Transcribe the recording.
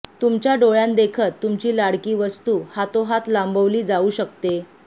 तुमच्या डोळ्यांदेखत तुमची लाडकी वस्तू हातोहात लांबवली जाऊ शकते